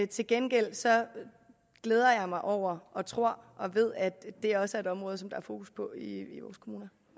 til gengæld glæder jeg mig over og tror og ved at det også et område som der er fokus på i vores kommuner